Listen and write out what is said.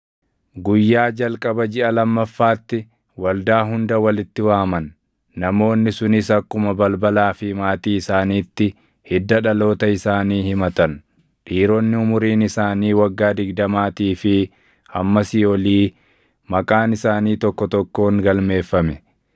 guyyaa jalqaba jiʼa lammaffaatti waldaa hunda walitti waaman. Namoonni sunis akkuma balbalaa fi maatii isaaniitti hidda dhaloota isaanii himatan; dhiironni umuriin isaanii waggaa digdamaatii fi hammasii olii maqaan isaanii tokko tokkoon galmeeffame;